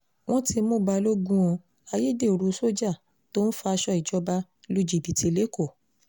wọ́n ti mú balógun o ayédèrú sójà tó ń faṣọ ìjọba lu jìbìtì lẹ́kọ̀ọ́